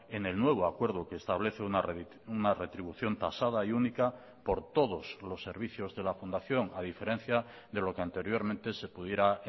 en el nuevo acuerdo que establece una retribución tasada y única por todos los servicios de la fundación a diferencia de lo que anteriormente se pudiera